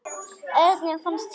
Erni fannst Gerður of köld.